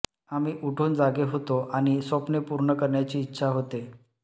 आम्ही उठून जागे होतो आणि स्वप्ने पूर्ण करण्याची इच्छा होते